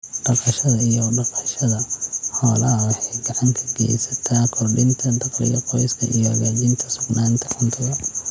Dhaqashada iyo dhaqashada xoolaha waxay gacan ka geysataa kordhinta dakhliga qoyska iyo hagaajinta sugnaanta cuntada.